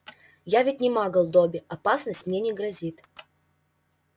я ведь не магл добби опасность мне не грозит